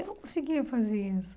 Eu não conseguia fazer isso.